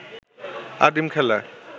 আদিম খেলা